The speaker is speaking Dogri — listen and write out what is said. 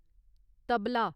तबला